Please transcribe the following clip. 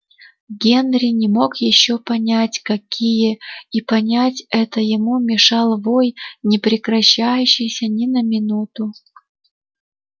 генри не мог ещё понять какие и понять это ему мешал вой не прекращающийся ни на минуту